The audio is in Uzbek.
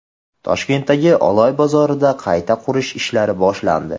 Toshkentdagi Oloy bozorida qayta qurish ishlari boshlandi.